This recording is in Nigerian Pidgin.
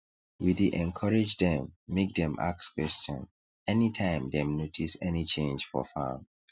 we dey encourage dem make dem ask question anytime dem notice any change for farm